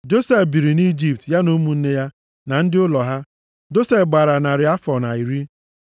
Josef biri nʼIjipt, ya na ụmụnne ya, na ndị ụlọ ha. Josef gbara narị afọ na iri.